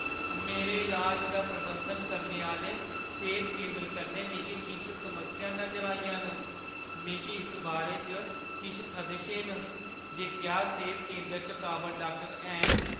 मेरे इलाज दा प्रबंधन करने आह्‌ले सेह्‌त केंदर कन्नै मिगी किश समस्यां नजर आइयां न। मिगी इस बारे च किश खदशे न जे क्या सेह्‌त केंदरै च काबल डाक्टर हैन।